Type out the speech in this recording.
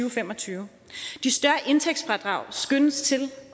og fem og tyve de større indtægtsfradrag skønnes